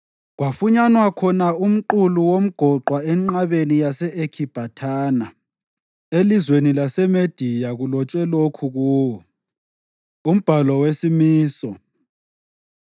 Kwafunyanwa khona umqulu womgoqwa enqabeni yase-Ekhibhathana elizweni laseMediya kulotshwe lokhu kuwo: Umbhalo wesimiso: